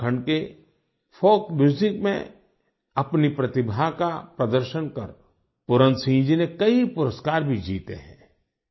उत्तराखंड के folk music में अपनी प्रतिभा का प्रदर्शन कर पूरन सिंह जी ने कई पुरस्कार भी जीते हैं